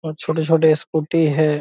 और छोटे छोटे स्कूटी है।